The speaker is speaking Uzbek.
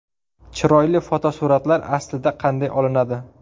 Chiroyli fotosuratlar aslida qanday olinadi?